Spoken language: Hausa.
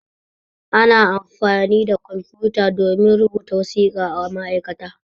Ana amfani da kwamfuta domin rubuta wasiƙa a ma'aikata.